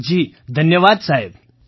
મંજૂરજી જીધન્યવાદ સાહેબ